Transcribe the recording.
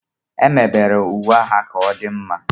Emebere uwe agha ka ọ dị mma